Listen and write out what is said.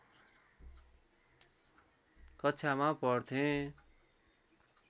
कक्षामा पढ्थेँ